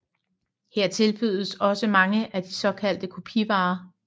Her tilbydes også mange af de såkaldte kopivarer